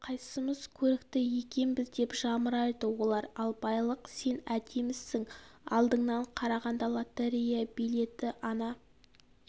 ал қайсымыз көрікті екенбіз деп жамырайды олар ал байлық сен әдемісің алдыңнан қарағанда лотерея билеті ана